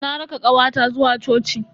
Na raka kawata zuwa coci.